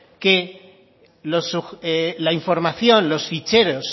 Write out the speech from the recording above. que la información los ficheros